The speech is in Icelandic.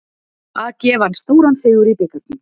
AG vann stóran sigur í bikarnum